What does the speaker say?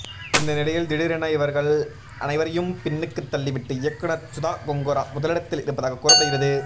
இந்த நிலையில் திடீரென இவர்கள் அனைவரையும் பின்னுக்கு தள்ளிவிட்டு இயக்குனர் சுதா கொங்கரா முதலிடத்தில் இருப்பதாக கூறப்படுகிறது